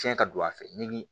Tiɲɛ ka don a fɛ nimi